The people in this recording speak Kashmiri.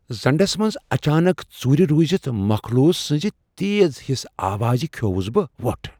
زنڈس منز اچانک ژوٗرِ روٗزِتھ مخلوق سٕنزِ تیز ہِس آوازِ کھیووُس بہ وۄٹھ۔